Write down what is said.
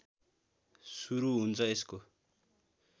सुरु हुन्छ यसको